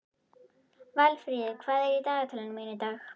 Valfríður, hvað er í dagatalinu mínu í dag?